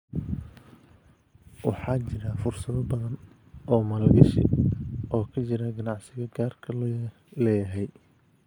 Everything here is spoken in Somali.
Waxaa jira fursado badan oo maalgashi oo ka jira ganacsiga gaarka loo leeyahay.